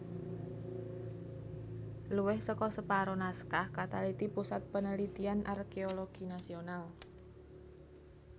Luwih seka separo naskah kataliti Pusat Penelitian Arkeologi Nasional